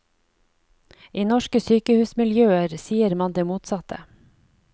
I norske sykehusmiljøer sier man det motsatte.